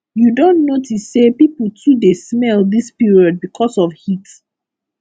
you don notice sey pipo too dey smell dis period because of heat